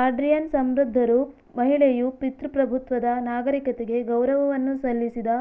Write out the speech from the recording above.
Adrienne ಸಮೃದ್ಧರು ಮಹಿಳೆಯು ಪಿತೃಪ್ರಭುತ್ವದ ನಾಗರಿಕತೆಗೆ ಗೌರವವನ್ನು ಸಲ್ಲಿಸಿದ